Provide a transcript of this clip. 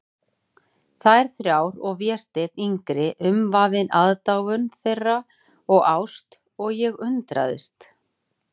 Þær þrjár og Vésteinn yngri umvafinn aðdáun þeirra og ást, og ég undrast.